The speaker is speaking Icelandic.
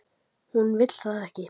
Hún vill það ekki.